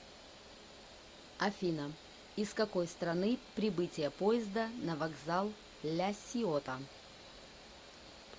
афина из какой страны прибытие поезда на вокзал ля сиота